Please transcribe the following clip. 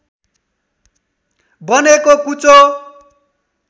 बनेको कुचो